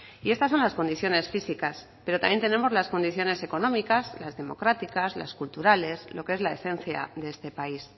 y estas son las condiciones físicas pero también tenemos las condiciones económicas las democráticas las culturales lo que es la esencia de este país